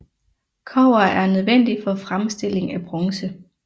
Kobber er nødvendigt for fremstilling af bronze